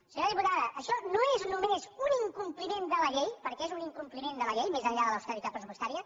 senyora diputada això no és només un incompliment de la llei perquè és un incompliment de la llei més enllà de l’austeritat pressupostària